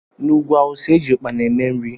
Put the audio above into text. N'ugwú awụsa eji ukpana eme nri.